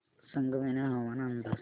संगमनेर हवामान अंदाज